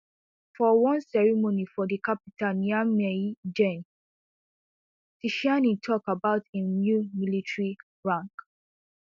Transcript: for one ceremony for di capital niamey gen tchiani tok about im new military rank